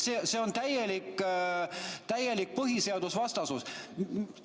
See on täielik põhiseadusvastasus.